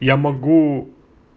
я могу